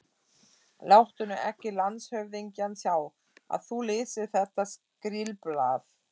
Láttu nú ekki landshöfðingjann sjá, að þú lesir þetta skrílblað.